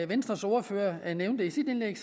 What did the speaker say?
venstres ordfører nævnte i sit indlæg